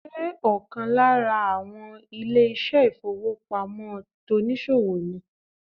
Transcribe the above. Ṣé ọ̀kan lára àwọn ilé ìṣẹ́ ìfowópamọ́ tonìsòwò ni